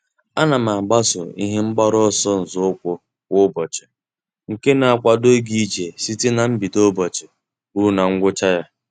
A na m agbaso ihe mgbaru ọsọ nzọụkwụ kwa ụbọchị nke na-akwado ịga ije site na mbido n'ụbọchị ruo na ngwụcha ya.